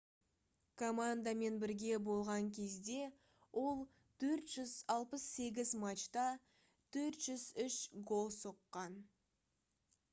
командамен бірге болған кезде ол 468 матчта 403 гол соққан